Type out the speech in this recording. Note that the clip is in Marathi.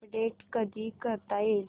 अपडेट कधी करता येईल